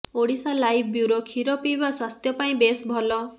Odisha live bureau କ୍ଷୀର ପିଇବା ସ୍ୱାସ୍ଥ୍ୟ ପାଇଁ ବେଶ ଭଲ